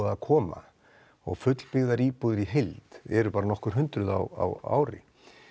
að koma og fullbyggðar íbúðir í heild eru bara nokkur hundruð á ári